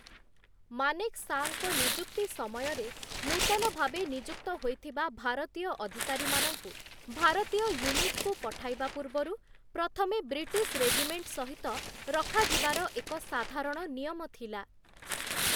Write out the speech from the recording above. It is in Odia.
ମାନେକ୍‌ଶାଙ୍କ ନିଯୁକ୍ତି ସମୟରେ, ନୂତନ ଭାବେ ନିଯୁକ୍ତ ହୋଇଥିବା ଭାରତୀୟ ଅଧିକାରୀମାନଙ୍କୁ, ଭାରତୀୟ ୟୁନିଟ୍‌କୁ ପଠାଇବା ପୂର୍ବରୁ ପ୍ରଥମେ ବ୍ରିଟିଶ୍‌ ରେଜିମେଣ୍ଟ ସହିତ ରଖାଯିବାର ଏକ ସାଧାରଣ ନିୟମ ଥିଲା ।